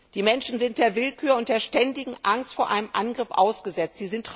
Die Menschen sind der Willkür und der ständigen Angst vor einem Angriff ausgesetzt.